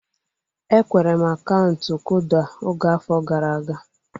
Enwere m akaụntụ kuda oge afọ gara aga